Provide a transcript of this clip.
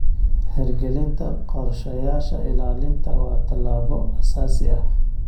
Hirgelinta qorshayaasha ilaalinta waa tallaabo aasaasi ah.